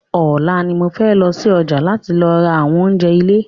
Ọ̀la ni mo fẹ́ lọsí ọjà láti lọ ra àwọn oúnjẹ ilé